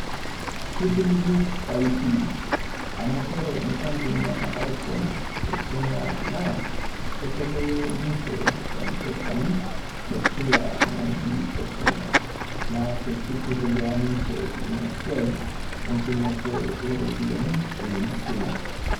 Keisiligu pai pii amu kore enkampuni e Safaricom te Kenya naa ketobolo ninche e m-pesa ni te kila wueji e Kenya. Naa keitelelia niche Ina siai entumoto e ropiyiani eimu esimu.